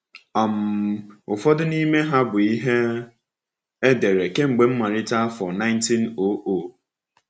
um Ụfọdụ n’ime ha bụ ihe e dere kemgbe mmalite afọ 1900.